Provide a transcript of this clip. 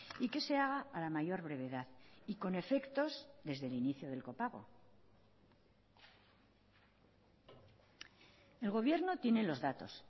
y que se haga a la mayor brevedad y con efectos desde el inicio del copago el gobierno tiene los datos